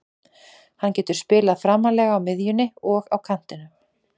Hann getur spilað framarlega á miðjunni og á kantinum.